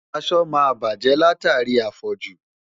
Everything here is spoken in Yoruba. Aṣọ máa bàjẹ́ látàrí àfọ̀jù.